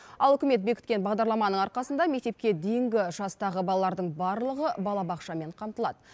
ал үкімет бекіткен бағдарламаның арқасында мектепке дейінгі жастағы балалардың барлығы балабақшамен қамтылады